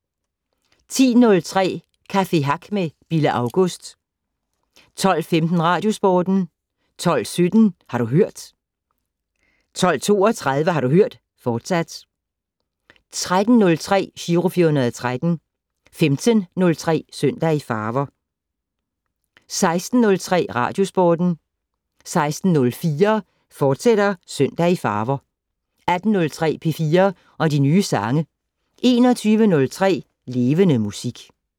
10:03: Café Hack med Bille August 12:15: Radiosporten 12:17: Har du hørt 12:32: Har du hørt, fortsat 13:03: Giro 413 15:03: Søndag i farver 16:03: Radiosporten 16:04: Søndag i farver, fortsat 18:03: P4 og de nye sange 21:03: Levende Musik